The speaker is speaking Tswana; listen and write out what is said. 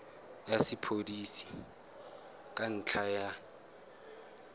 ya sepodisi ka ntlha ya